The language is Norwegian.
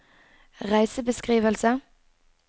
reisebeskrivelse